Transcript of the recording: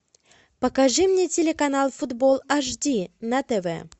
покажи мне телеканал футбол аш ди на тв